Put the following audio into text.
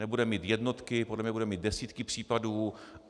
Nebude mít jednotky, podle mě bude mít desítky případů.